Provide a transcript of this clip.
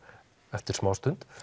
eftir smástund